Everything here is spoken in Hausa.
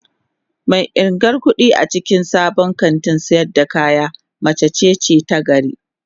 Mai irgan kudi a cikin sabon kantin sayar da kaya mace ce ta gari